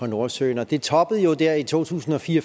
nordsøen det toppede jo der i to tusind og fire